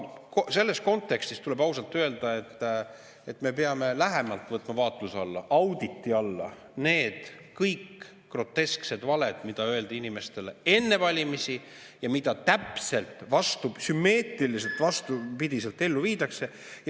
Selles kontekstis tuleb ausalt öelda, et me peame lähemalt võtma vaatluse alla, auditi alla kõik need grotesksed valed, mida öeldi inimestele enne valimisi ja mida sümmeetriliselt täpselt vastupidi ellu viiakse.